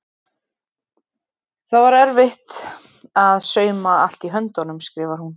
Það var bara erfitt að sauma allt í höndunum skrifar hún.